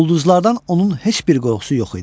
Ulduzlardan onun heç bir qorxusu yox idi.